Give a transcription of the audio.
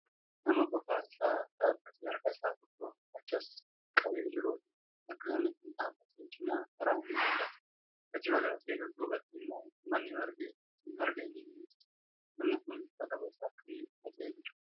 Nama qofaa isaa dhaabbatee harka isaa tokko achas qabee jirudha. Bakka namni Kun dhaabate cinaa karaan ni mul'ata. Achi fagaatee dudduubatti immoo manni margi irratti marge ni mul'ata. Namni Kun uffata gosa akkamii uffatee jira?